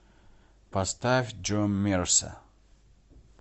поставь джо мерса